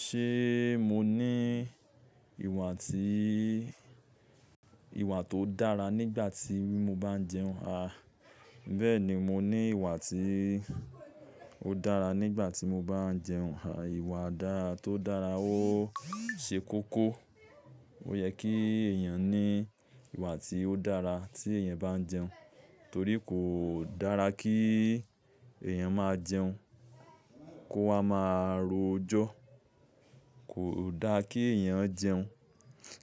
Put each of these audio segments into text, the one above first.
Ṣe mo ni ìwà tí, ìwà tó dára nígbà tí mo bá ń jẹun? A, bẹ́ẹ̀ ni mo ní ìwà tí ó dára nígbà tí mo bá ń jẹun. Àwọn ìwà dara to dára ó ṣe kókó. Ó yẹ kí ẹ̀yàn ní ìwà tí ó dára tí ẹ̀yàn bá ń jẹun, torí kò dára kí ẹ̀yàn máa jẹun, kó ha máa ro jọ́. Kò dára kí ẹ̀yàn jẹun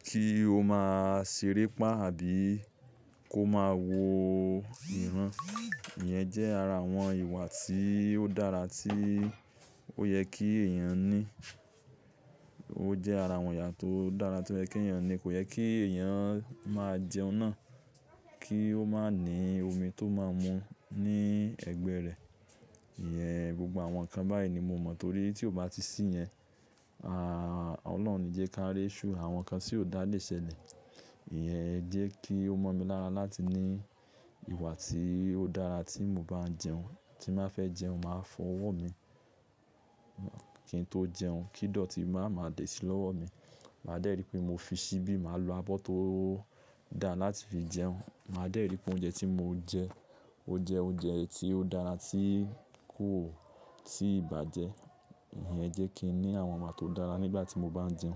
kí ó máa ṣeré pá àbí kó máa wo ìran. Ìyẹn jẹ́ ara àwọn ìwà tí ó dára tí ó yẹ kí ẹ̀yàn ní. Ó jẹ́ ara àwọn ìwà tó dára tí ó yẹ kí ẹ̀yàn ní. Kò yẹ kí ẹ̀yàn máa jẹun náà kí ó má ní omi tó máa mu ní ẹgbẹ́ rẹ̀. Ìyẹn gbogbo àwọn nǹkan báyìí ni mo mọ̀ torí tí ó bá ti sí yẹn, a Ọlọ́run òní jẹ ká rí ìṣù, àwọn nǹkan tí ò dá lé ṣẹ́lẹ̀ Ìyẹn jẹ́ kí ó mọ́ mi lára láti ní ìwà tí ó dára tí mo bá ń jẹun. Tí mo bá fẹ́ jẹun, màá fọ ọwọ́ mi kí n tó jẹun. Kídọ̀tí máa ma dèṣì lọ́wọ́ mi. Màá dẹ́rì pé mo fi ṣíbí, màá lo abọ́ tó dára láti fi jẹun. Màá dẹ́rì pé oúnjẹ tí mo ń jẹ, ó jẹ oúnjẹ tí ó dára, tí kò tíì bàjẹ́. Ìyẹn jẹ́ kí n ní àwọn ìmọ̀ tó dára nígbà tí mo bá ń jẹun.